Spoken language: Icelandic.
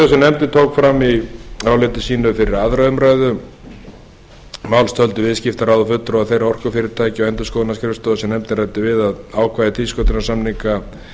nefndin tók fram í áliti sínu fyrir aðra umræðu málsins töldu viðskiptaráð og fulltrúar þeirra orkufyrirtækja og endurskoðunarskrifstofa sem nefndin ræddi við að ákvæði tvísköttunarsamninga